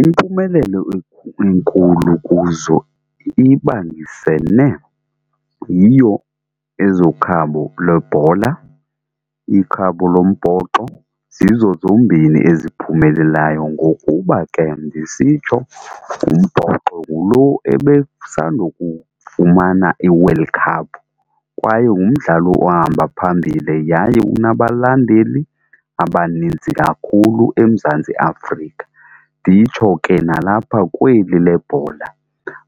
Impumelelo enkulu kuzo ibambisene yiyo ezokhabo lwebhola, ikhabo lombhoxo zizo zombini eziphumelelayo ngokuba ke ndisitsho ngumbhoxo ngulo ebesandokufumana iWorld Cup kwaye ngumdlalo ohamba phambili yaye unabalandeli abanintsi kakhulu eMzantsi Afrika. Nditsho ke nalapha kweli le bhola